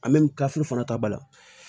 fana ta ba la